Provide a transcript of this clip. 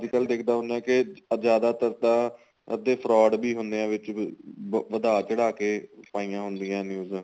ਅੱਜਕਲ ਦੇਖਦਾ ਹੁੰਨਾ ਕੀ ਜਿਆਦਾ ਤਰ ਤਾਂ ਅੱਧੇ fraud ਵੀ ਹੁੰਨੇ ਏ ਵਿੱਚ ਵਧਾ ਵਧਾ ਕੇ ਪਈਆਂ ਹੁੰਦੀਆਂ news